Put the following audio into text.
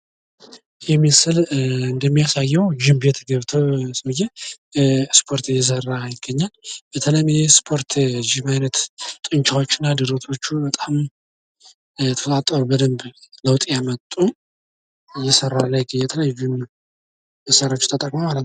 ዓለም አቀፍ የስፖርት ውድድሮች እንደ ኦሊምፒክና የዓለም ዋንጫዎች የተለያዩ ሀገራት ተወዳዳሪዎችን በማሰባሰብ የሰላም መልዕክት ያስተላልፋሉ።